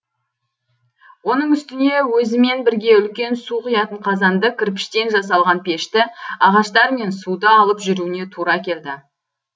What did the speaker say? оның үстіне өзімен бірге үлкен су құятын қазанды кірпіштен жасалған пешті ағаштар мен суды алып жүруіне тура келді